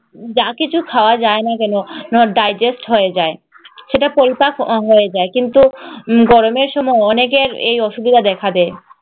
যা কিছু খাওয়া যায় না কেন digest হয়ে যায়। সেটা পরিপাক অঙ্গ হয়ে যায় কিন্তু গরমে সময় অনেকের এই অসুবিধা দেখা দেয়।